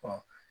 Ɔ